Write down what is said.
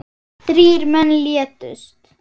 Þrír menn létust.